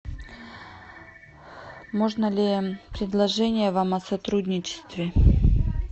можно ли предложение вам о сотрудничестве